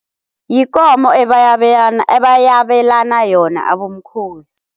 Yikomo ebayabelana yona abomkhozi.